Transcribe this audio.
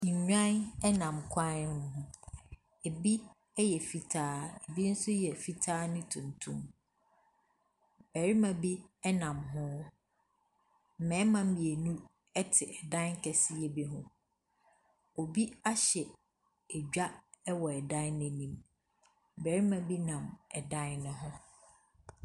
Nnwan nam kwan no ho. Ebi yɛ fitaa ebi nso yɛ fitaa ne tuntum. Barima bi nam hɔ. mmarima mmienu te ɛdan kɛseɛ bi mu. Obi ahyɛ edwa wɔ ɛdan no anim. Barima bi nam ɛdan no ho.